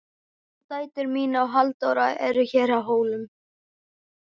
Og dætur mínar og Halldóra eru hér á Hólum.